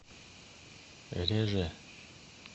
реже